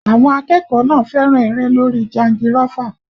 Àwọn akẹ́kọ̀ọ́ náà fẹ́ràn eré lórí jangirọ́fà